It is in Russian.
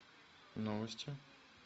новости